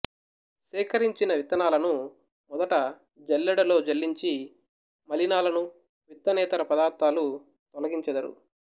సేకరించిన విత్తనాలను మొదట జల్లెడలో జల్లించి మలినాలను విత్తనేతర పదార్థాలు తొలగించెదరు